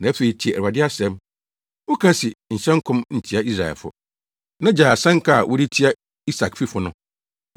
Na afei, tie Awurade asɛm. Woka se, “ ‘Nhyɛ nkɔm ntia Israelfo, na gyae asɛnka a wode tia Isakfifo no.’